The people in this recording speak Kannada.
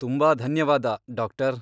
ತುಂಬಾ ಧನ್ಯವಾದ, ಡಾಕ್ಟರ್.